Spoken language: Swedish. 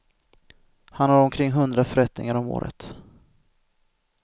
Han har omkring hundra förrättningar om året.